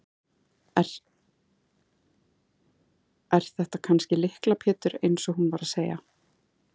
Er þetta kannski Lykla Pétur eins og hún var að segja?